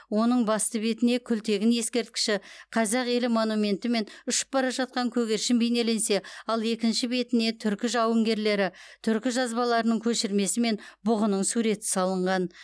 оның басты бетіне күлтегін ескерткіші қазақ елі монументі мен ұшып бара жатқан көгершін бейнеленсе ал екінші бетіне түркі жауынгерлері түркі жазбаларының көшірмесі мен бұғының суреті салынған